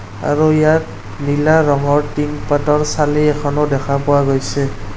আৰু ইয়াত নীলা ৰঙৰ টিন পাতৰ চালি এখনো দেখা পোৱা গৈছে।